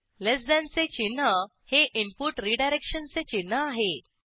लेस than चे चिन्ह हे इनपुट रीडायरेक्शनचे चिन्ह आहे